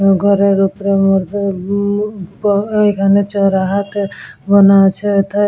ঘরের ওপরের মধ্যে বু প এখানে চড়া হাতে বানা আছে। এথায় --